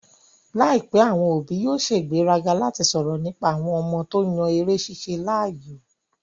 Láìpẹ́, àwọn òbí yóò sègbéraga láti sọ̀rọ̀ nípa àwọn ọmọ wọn tó yan eré ṣíṣe láàyò